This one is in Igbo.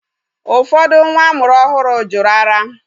Ụfọdụ nwa amụrụ ọhụrụ jụrụ ara.